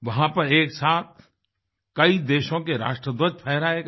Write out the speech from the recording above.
वहाँ पर एक साथ कई देशों के राष्ट्रध्वज फहराए गए